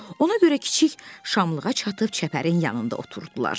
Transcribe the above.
Ona görə kiçik şamlığa çatıb çəpərin yanında oturdular.